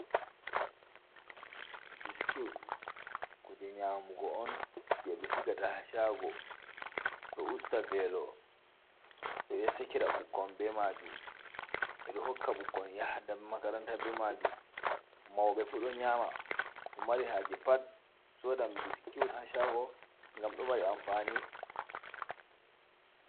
Biskut kuje nyamugo on je ɓe sigata ha shago, ɗo usta velo, ɓeɗo sekira ɓukkon be majum, ɓeɗo hokka ɓukkon yaha da makaranta be majum, mauɓe fu do nyama, mo mari haje pat sodan biskut ha shago ngam ɗo mari amfani.